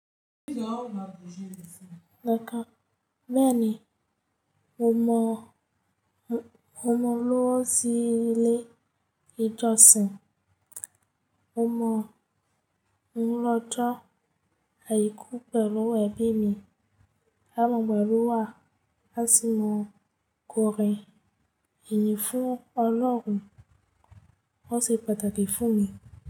Bẹ́ẹ̀ni, mo mọ olówó sí ilé ìjọsìn, mo mọ̀ ń lọ́jọ́ àìkú pẹ̀lú ẹbí mi, àmọ́ pẹ̀lú wa láti máa kọrin ìyìn fún Ọlọ́run. Ó ṣe pàtàkì fún mi.